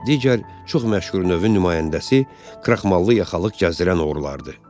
Digər çox məşhur növün nümayəndəsi kraxmalı yaxalıq gəzdirən oğrulardır.